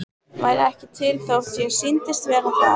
Væri ekki til þótt ég sýndist vera það.